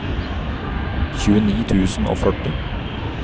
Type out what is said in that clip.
tjueni tusen og førti